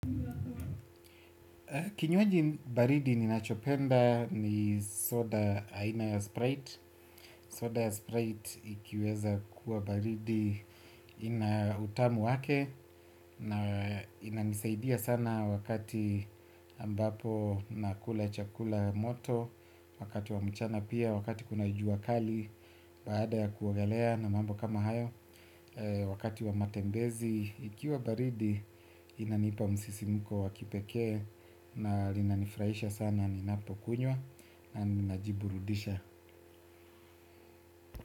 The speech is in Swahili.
Kinywaji baridi ninachopenda ni soda aina ya Sprite. Soda ya Sprite ikiweza kuwa baridi ina utamu wake na inanisaidia sana wakati ambapo na kula chakula moto, wakati wa mchana pia, wakati kuna jua kali baada ya kuogelea na mambo kama hayo, wakati wa matembezi. Ikiwa baridi inanipa msisimuko wakipekee na linanifurahisha sana ninapokunywa na ninajiburudisha.